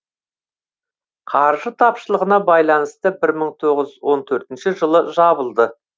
қаржы тапшылығына байланысты бір мың тоғыз жүз он төртінші жылы жабылды